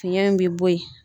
Fiɲɛ in bi bo ye.